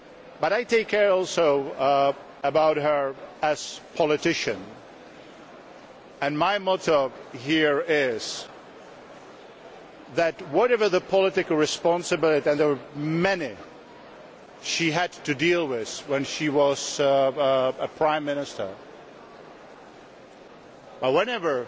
But I also care about her as a politician and my motto here is that, whatever the political responsibility and there were many she had to deal with when she was Prime Minister